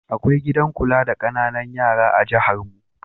Akwai gidan kula da ƙananan yara da jiharmu.